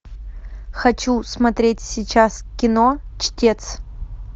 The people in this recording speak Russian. хочу смотреть сейчас кино чтец